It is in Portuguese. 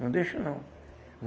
Não deixo, não.